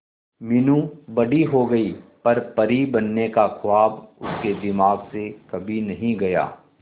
मीनू बड़ी हो गई पर परी बनने का ख्वाब उसके दिमाग से कभी नहीं गया